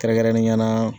Kɛrɛnkɛrɛnnenya la